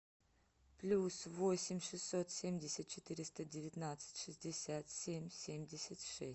плюс восемь шестьсот семьдесят четыреста девятнадцать шестьдесят семь семьдесят шесть